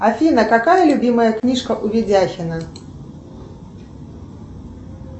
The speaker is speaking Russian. афина какая любимая книжка у ведяхина